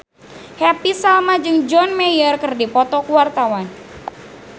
Happy Salma jeung John Mayer keur dipoto ku wartawan